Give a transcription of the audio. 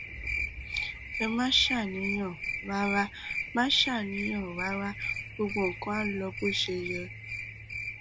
ẹ má ṣàníyàn rárá má ṣàníyàn rárá gbogbo nǹkan á lọ bó ṣe yẹ